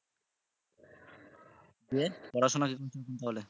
ইয়ে পড়াশুনার কি খবর বলো